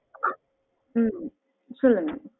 உம் சொல்லுங்க